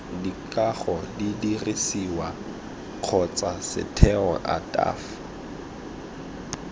dikago didirisiwa kgotsa setheo ataf